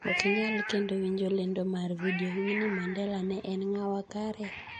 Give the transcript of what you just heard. Ok inyal kendo winjo lendo mar video, Winni Mandela ne en ng'awa kare?